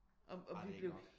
Ej det er ikke nok